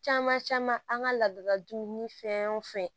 Caman caman an ka laadala dumuni fɛn wo fɛn